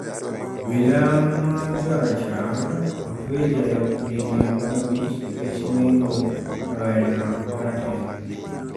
Obila ma jorachar otwe e jela kuom higini 15 nikech nego rawera ma rateng